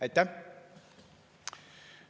Aitäh!